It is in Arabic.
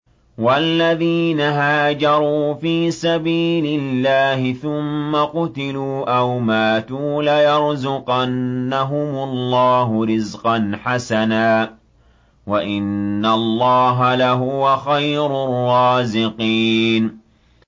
وَالَّذِينَ هَاجَرُوا فِي سَبِيلِ اللَّهِ ثُمَّ قُتِلُوا أَوْ مَاتُوا لَيَرْزُقَنَّهُمُ اللَّهُ رِزْقًا حَسَنًا ۚ وَإِنَّ اللَّهَ لَهُوَ خَيْرُ الرَّازِقِينَ